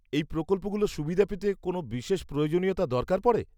-এই প্রকল্পগুলোর সুবিধা পেতে কোন বিশেষ প্রয়োজনীয়তা দরকার পরে?